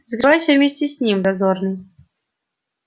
закрывайся вместе с ним дозорный